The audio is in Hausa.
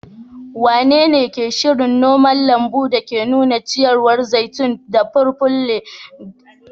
Wanene ke shirin noma lambun da ke nuna ciyawar zaitun da purple a Legas a bazara mai zuwa?